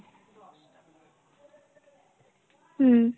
হুম।